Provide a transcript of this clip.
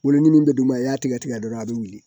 Wolo ni min bɛ d'u ma i y'a tigɛ tigɛ dɔrɔn a bɛ wuli